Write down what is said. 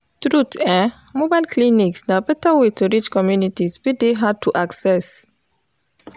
truth eh mobile clinics na better way to reach communities wey dey hard to access.